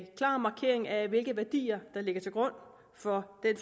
klar markering af hvilke værdier der ligger til grund for den